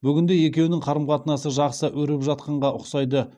бүгінде екеуінің қарым қатынасы жақсы өрбіп жатқанға ұқсайды